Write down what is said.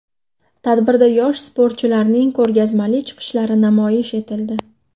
Tadbirda yosh sportchilarning ko‘rgazmali chiqishlari namoyish etildi.